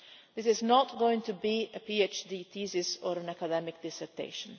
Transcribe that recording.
This is not going to be a PhD thesis or an academic dissertation.